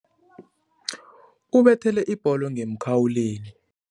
Ubethele ibholo ngemkhawulweni.